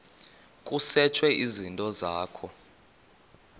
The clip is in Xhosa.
kusetshwe izinto zakho